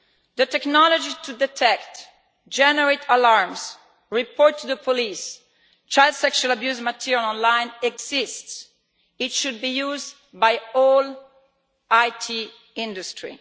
The technology to detect, generate alarms, report to the police child sexual abuse material online exists it should be used by all the IT industry.